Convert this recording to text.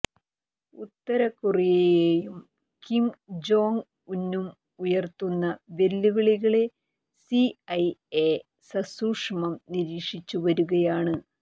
ഉത്തരകൊറിയയും Kim Jong ഉന്നും ഉയര്ത്തുന്ന വെല്ലുവിളികളെ സിഐഎ സസൂക്ഷമം നിരീക്ഷിച്ച് വരികയാണ്